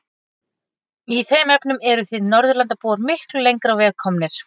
Í þeim efnum eruð þið Norðurlandabúar miklu lengra á veg komnir.